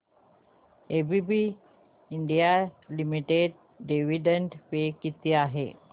ABB India limited dividend पे किती आहे